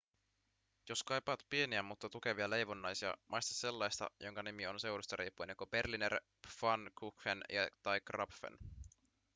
jos kaipaat pieniä mutta tukevia leivonnaisia maista sellaista jonka nimi on seudusta riippuen joko berliner pfannkuchen tai krapfen